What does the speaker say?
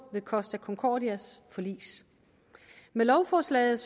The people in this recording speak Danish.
ved costa concordia s forlis med lovforslaget